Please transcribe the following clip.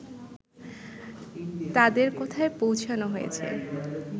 তাদের কোথায় পৌঁছোনো হয়েছে